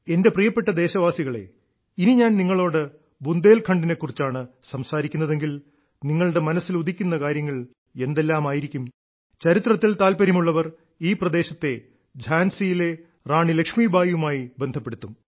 എന്റെ പ്രിയപ്പെട്ട ദേശവാസികളേ ഇനി ഞാൻ നിങ്ങളോട് ബുന്ദേൽഖണ്ഡിനെ കുറിച്ചാണ് സംസാരിക്കുന്നതെങ്കിൽ നിങ്ങളുടെ മനസ്സിൽ ഉദിക്കുന്ന കാര്യങ്ങൾ എന്തെല്ലാമാരിക്കും ചരിത്രത്തിൽ താല്പര്യമുള്ളവർ ഈ പ്രദേശത്തെ ഝാൻസിയിലെ റാണി ലക്ഷ്മിബായിയുമായി ബന്ധപ്പെടുത്തും